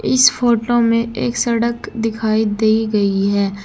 इस फोटो में एक सड़क दिखाई दे गई है।